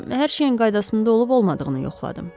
Hər şeyin qaydasında olub-olmadığını yoxladım.